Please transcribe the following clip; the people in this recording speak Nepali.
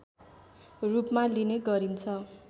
रूपमा लिने गरिन्छ